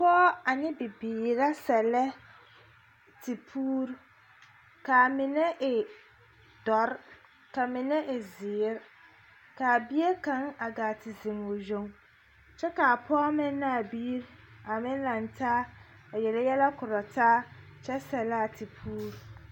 Pͻge ane bibiiri la sԑllԑ tepuuri, kaa mine e dͻre ka mine e zeere. Ka a bie kaŋa a gaa te zeŋ o yoŋ kyԑ ka a pͻge meŋ ne a biiri a meŋ lantaa a yele yԑlԑ korͻ taa kyԑ sԑllaa tepuuri.